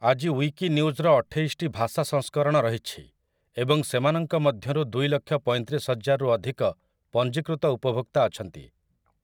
ଆଜି ଉଇକିନ୍ୟୁଜ୍‌ର ଅଠେଇଶଟି ଭାଷା ସଂସ୍କରଣ ରହିଛି ଏବଂ ସେମାନଙ୍କ ମଧ୍ୟରୁ ଦୁଇଲକ୍ଷ ପଇଁତିରିଶହଜାରରୁ ଅଧିକ ପଞ୍ଜୀକୃତ ଉପଭୋକ୍ତା ଅଛନ୍ତି ।